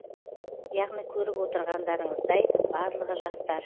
яғни көріп отырғандарыңыздай барлығы жастар